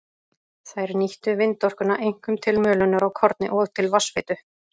Þær nýttu vindorkuna einkum til mölunar á korni og til vatnsveitu.